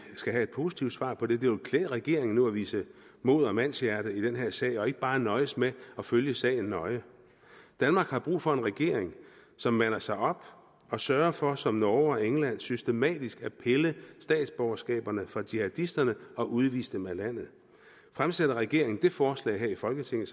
skal have et positivt svar på det det ville klæde regeringen nu at vise mod og mandshjerte i den her sag og ikke bare nøjes med at følge sagen nøje danmark har brug for en regering som mander sig op og sørger for som norge og england systematisk at pille statsborgerskaberne fra jihadisterne og udvise dem af landet fremsætter regeringen det forslag her i folketinget